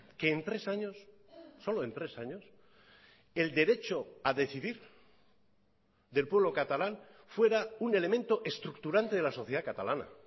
que en tres años solo en tres años el derecho a decidir del pueblo catalán fuera un elemento estructurante de la sociedad catalana